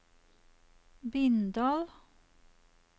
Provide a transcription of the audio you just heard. Bindal